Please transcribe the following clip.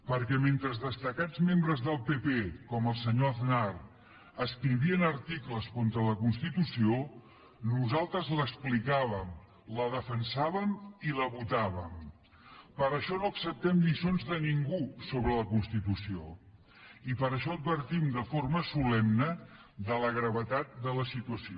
perquè mentre destacats membres del pp com el senyor aznar escrivien articles contra la constitució nosaltres l’explicàvem la defensàvem i la votàvem per això no acceptem lliçons de ningú sobre la constitució i per això advertim de forma solemne de la gravetat de la situació